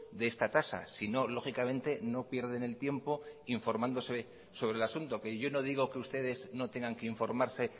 de esta tasa si no lógicamente no pierden el tiempo informándose sobre el asunto que yo no digo que ustedes no tengan que informarse